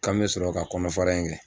K'an mɛ sɔrɔ ka kɔnɔfara in kɛ.